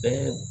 Ɛɛ